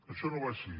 això no va així